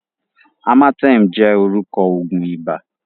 Amatem jẹ́ orúkọ òògùn ibà.